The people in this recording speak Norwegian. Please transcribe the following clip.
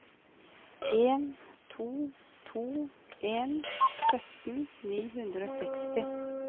en to to en sytten ni hundre og seksti